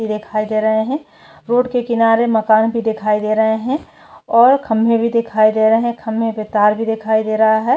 ती दिखाई दे रहे है रोड के किनारे मकान भी दिखाई दे रहा है और खंबे भी दिखाई दे रहे है खम्बे पर तार भी दिखाई दे रहा है।